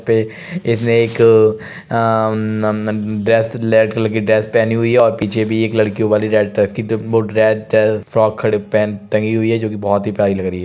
इसने एक अ नम नम ड्रेस रेड कलर की ड्रेस पहनी हुई है और पीछे भी एक लड़कियो वाली रेड ड्रेस टंगी हुई है जोकि बहुत ही प्यारी लग रही हैं।